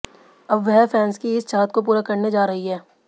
अब वह फैंस की इस चाहत को पूरा करने जा रही हैं